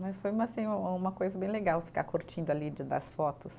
Mas foi uma assim, uma coisa bem legal ficar curtindo ali de das fotos.